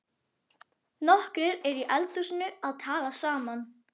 Nokkrir eru í eldhúsinu að tala saman.